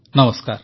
ନମସ୍କାର